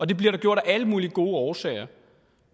det bliver der gjort af alle mulige gode årsager